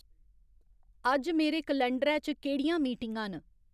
अज्ज मेरे कलंडरै च केह्ड़ियां मीटिंगां न